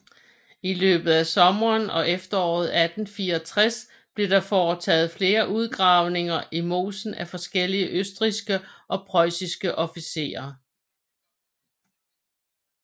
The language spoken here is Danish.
I løbet af sommeren og efteråret 1864 blev der foretaget flere udgravninger i mosen af forskellige østrigske og preussiske officerer